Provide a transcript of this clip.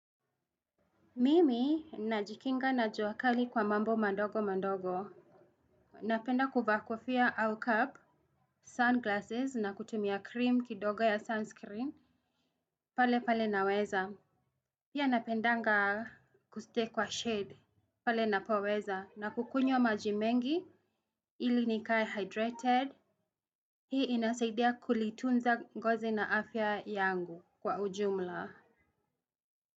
Mimi najikinga na jua kali kwa mambo mandogo mandogo. Napenda kuvaa kofia au cap, sunglasses na kutumia krim kidogo ya sunscreen. Pale pale naweza pia napendanga kustay kwa shade pale napoweza na kukunywa maji mingi ili nikae hydrated. Hii inasaidia kulitunza ngozi na afya yangu kwa ujumla.